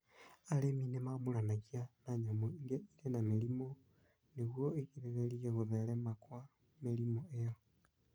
Arĩmi nĩ mamũranagia na nyamũ iria irĩ na mĩrimũ nĩguo igirĩrĩrie kũtherema kwa mĩrimũ ĩyo.